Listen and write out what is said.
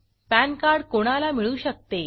pan card कोणाला मिळू शकते